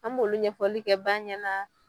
An b'olu ɲɛfɔli kɛ ban ɲɛ la.